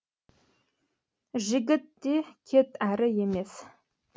жігіт те кет әрі емес